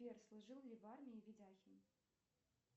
сбер служил ли в армии видяхин